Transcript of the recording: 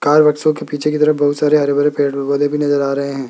Car के पीछे के तरफ बहुत सारे हरे भरे पेड़ पौधे भी नजर आ रहे हैं।